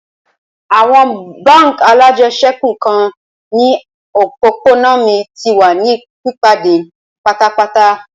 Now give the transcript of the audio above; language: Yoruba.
Awọn bánk alájẹsẹ́kù nikan ni opopona mi ti wa ni pipade patapata.